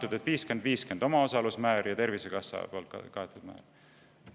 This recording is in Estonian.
Ja siis on, et omaosaluse määr on 50% ja Tervisekassa kaetav osa 50%.